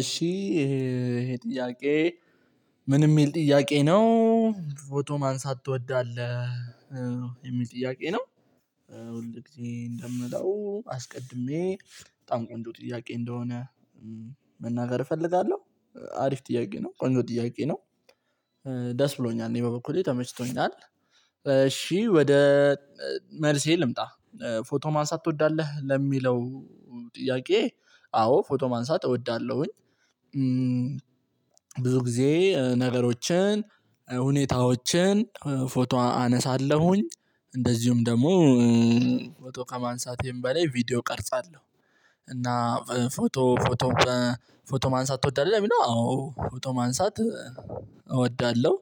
እሺ ይሄ ይሄ ጥያቄ ምን የሚል ጥያቄ ነው። ፎቶ ማንሳት ትወዳለህ የሚል ጥያቄ ነው። ሁል ጊዜ እንደምለው አስቀድሜ በጣም ቆንጆ ጥያቄ እንደሆነ መናገር እፈልጋለሁ። አሪፍ ጥያቄ ነው ቆንጆ ጥያቄ ነው። ደስ ብሎኛል እኔ በበኩሌ ተመችቶኛል። እሺ ወደ መልሴ ልምጣ። ፎቶ ማንሳት ትወዳለህ ለሚለው ጥያቄ አዎ ፎቶ ማንሳት እወዳለሁኝ። ብዙ ጊዜ ነገሮችን ሁኔታዎችን ፎቶ አነሳለሁኝ። እንደዚሁም ደግሞ ፎቶ ከማንሳቴም በላይ ቪዲዮ እቀርጻለሁ። እና ፎቶ ፎቶ ፎቶ ማንሳት ትወዳለህ ለሚለው አዎ ፎቶ ማንሳት እወዳለሁ።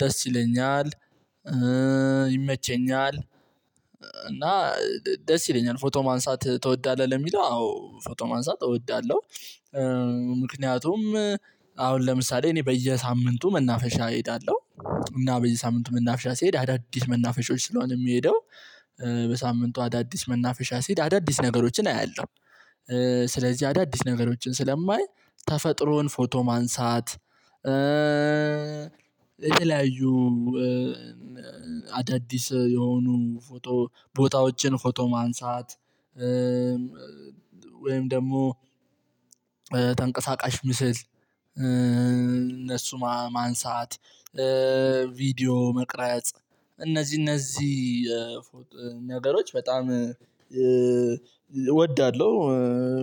ደስ ይለኛል ይመቸኛል። እና ደስ ይለኛል ፎቶ ማንሳት ትወዳለህ ለሚለው አዎ ፎቶ ማንሳት እወዳለሁ። ምክንያቱም አሁን ለምሳሌ እኔ በየሳምንቱ መናፈሻ እሄዳለሁ እና በየ ሳምንቱ መናፈሻ ስሄድ አዳዲስ መናፈሻዎች ስለሆነ የምሄደው በሳምንቱ አዳዲስ መናፈሻ ስሄድ አዳዲስ ነገሮችን አያለሁ። ስለዚህ አዳዲስ ነገሮችን ስለማይ ተፈጥሮን ፎቶ ማንሳት የተለያዩ አዳዲስ የሆኑ ፎቶ ቦታዎችን ፎቶ ማንሳት ወይም ደግሞ ተንቀሳቃሽ ምስል እነሱ ማንሳት ቪዲዮ መቅረጽ እነዚህ እነዚህ ነገሮች በጣም እወዳለሁ።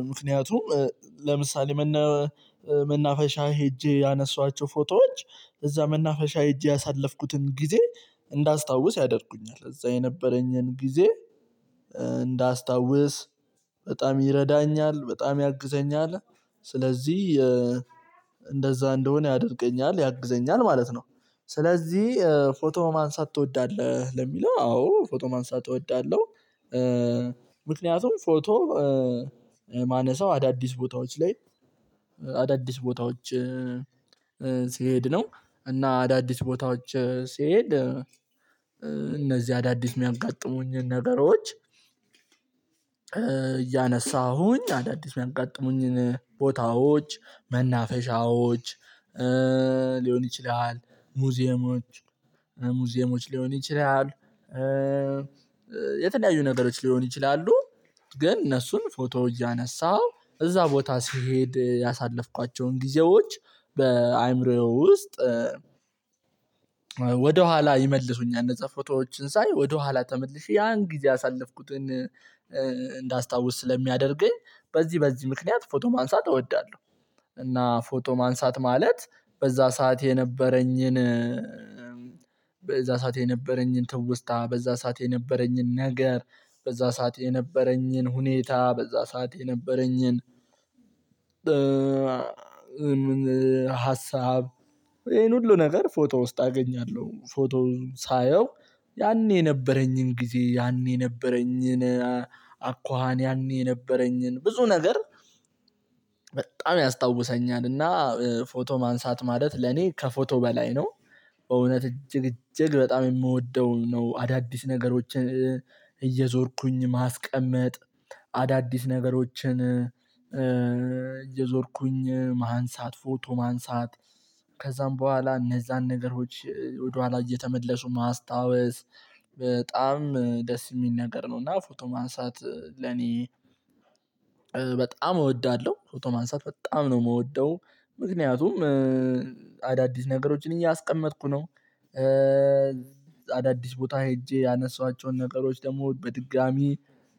ምክንያቱም ለምሳሌ መነ መናፈሻ ሄጄ ያነሳዋቸው ፎቶዎች እዛ መናፈሻ ሄጄ ያሳለፍኩትን ጊዜ እንዳስታውስ ያደርጉኛል እዛ የነበረኝን ጊዜ እንዳስታውስ በጣም ይረዳኛል በጣም ያግዘኛል። ስለዚህ የ እንደዛ እንደሆነ ያደርገኛል ያግዘኛል ማለት ነው። ስለዚህ ፎቶ ማንሳት ትወዳለህ ለሚለው አዎ ፎቶ ማንሳት እወዳለሁ። ምክንያቱም ፎቶ የማነሳው አዳዲስ ቦታዎች ላይ አዳዲስ ቦታዎች ነው እና አዳዲስ ቦታዎች ስሄድ እነዚህ አዳዲስ የሚያጋጥሙኝን ነገሮች። እያነሳሁኝ አዳዲስ የሚያጋጥሙኝን ቦታዎች መናፈሻዎች ሊሆን ይችላል ሙዚየሞች ሙዚየሞች ሊሆን ይችላል። የተለያዩ ነገሮች ሊሆኑ ይችላሉ። ግን እነሱን ፎቶ እያነሳው እዛ ቦታ ስሄድ ያሳለፍኳቸውን ጊዜዎች በአእምሮዬ ውስጥ ወደኋላ ይመልሱኛል። እንዛ ፎቶዎችን ሳይ ወደኋላ ተመልሼ ያን ጊዜ ያሳለፍኩትን እንዳስታውስ ስለሚያደርገኝ በዚህ በዚህ ምክንያት ፎቶ ማንሳት እወዳለሁ። እና ፎቶ ማንሳት ማለት በዛ ሰዓት የነበረኝን ሰዓት የነበረኝን ትውስታ በዛ ሰዓት የነበረኝን ነገር በዛ ሰዓት የነበረኝን ሁኔታ በዛ ሰዓት የነበረኝን ሀሳብ ይሄን ሁሉ ነገር ፎቶ ውስጥ አገኛለሁ ፎቶውን ሳየው ያኔ የነበረኝን ጊዜ ያኔ የነበረኝን አኳኋን ያኔ የነበረኝን ብዙ ነገር ያስታውሰኛል። እና ፎቶ ማንሳት ማለት ለኔ ከፎቶ በላይ ነው በእውነት እጅግ እጅግ በጣም የምወደው ነው። አዳዲስ ነገሮችን እየዞርኩኝ ማስቀመጥ አዳዲስ ነገሮችን እየዞርኩኝ ማንሳት ፎቶ ማንሳት ከዛም በኋላ እነዛን ነገሮች ወደኋላ እየተመለሱ ማስታወስ በጣም ደስ የሚል ነገር ነው። እና ፎቶ ማንሳት ለኔ በጣም እወዳለሁ ፎቶ ማንሳት በጣም ነው የምወደው። ምክንያቱም አዳዲስ ነገሮችን እያስቀመጥኩ ነው። አዳዲስ ቦታ ሄጄ ያነሰዋቸውን ነገሮች ደግሞ በድጋሚ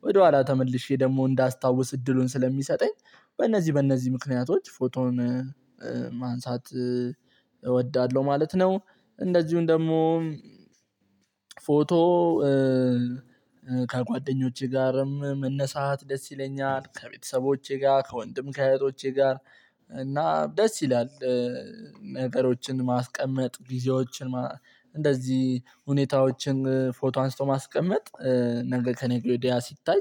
ወደኋላ ተመልሼ ደግሞ እንዳስታውስ እድሉን ስለሚሰጠኝ በእነዚህ በእነዚህ ምክንያቶች ፎቶውን ማንሳት እወዳለሁ ማለት ነው። እንደዚሁም ደግሞ ፎቶ ከጓደኞቼ ጋርም መነሳት ደስ ይለኛል ከቤተሰቦቼ ጋር ከወንድም ከእህቶቼ ጋር እና ደስ ይላል። ነገሮችን ማስቀመጥ ጊዜዎችን ማ እንደዚህ ሁኔታዎችን ፎቶ አንስቶ ማስቀመጥ ነገ ከነገ ወዲያ ሲታይ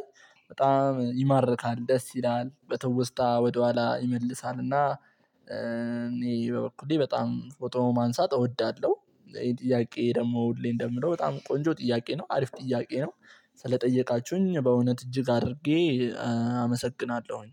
በጣም ይማርካል ደስ ይላል በትውስታ ወደኋላ ይመልሳል። እና እኔ በበኩሌ በጣም ፎቶ ማንሳት እወዳለሁ። ጥያቄ ደግሞ ሁሌ እንደምለው በጣም ቆንጆ ጥያቄ ነው አሪፍ ጥያቄ ነው። ስለጠየቃችሁኝ በእውነት እጅግ አድርጌ አመሰግናለሁኝ።